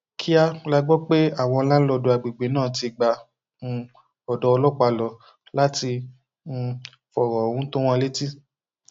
kíá la gbọ pé àwọn láńlọọdù àgbègbè náà ti gba um odò ọlọpàá lọ láti um fọrọ ohun tó wọn létí